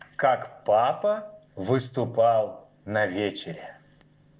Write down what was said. как папа выступал на вечере